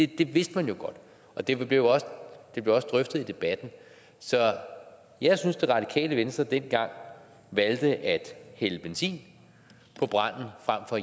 det vidste man jo godt og derfor blev det også drøftet i debatten så jeg synes radikale venstre dengang valgte at hælde benzin på branden frem for